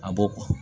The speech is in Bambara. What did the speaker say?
A b'o